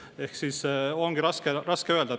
Ehk siis ongi raske öelda.